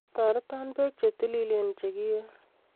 toreto pek chetililen chekie